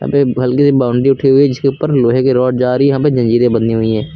एक हल्की सी बाउंड्री उठी हुई जिसके ऊपर लोहे के रोड जा रही यहां पे जंजीरें बंधी हुई हैं।